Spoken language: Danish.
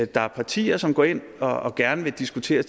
der er partier som går ind og gerne vil diskutere